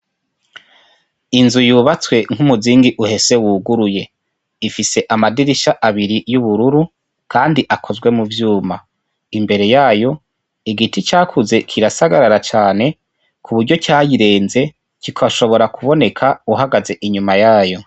Inzu yubatswe nk'umuzingi uhese wuguruye, ifise amadirisha abiri y'ubururu Kandi akozwe mu vyuma ,imbere yayo igiti cakuze kirasagarara cane ku buryo cayirenze kigashobora kuboneka uhagaze inyuma yayo.